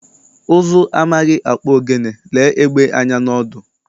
Ụzụ amaghị akpụ ogene, lee egbé anya n'ọdụ.